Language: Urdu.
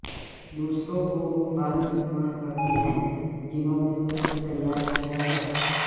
دوسروں کو وہ فارم استعمال کرتے ہیں جنہوں نے خود کو تیار کیا ہے